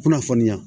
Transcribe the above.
Kunnafoniya